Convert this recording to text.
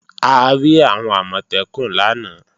A rí àwọn Àmọ̀tẹ́kùn lánàá